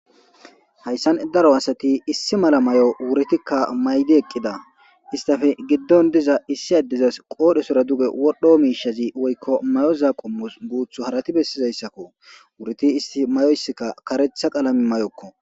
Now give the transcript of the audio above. Hayssan daro asati issi mala may'o wuritikka maydi eqqida istafe giddon diza issi addizas qoodhesora duge wodhdho miishazi woykko mayoza qummus guuthu harati bessizayssakko wuriti isti mayoysikka karetha qalami mayokko.